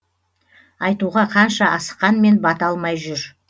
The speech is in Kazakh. айтуға қанша асыққанмен бата алмай жүр